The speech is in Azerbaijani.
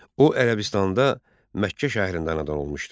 O Ərəbistanda Məkkə şəhərində anadan olmuşdu.